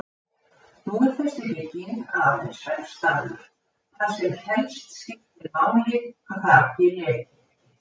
Nú er þessi bygging aðeins svefnstaður, þar sem helst skiptir máli að þakið leki ekki.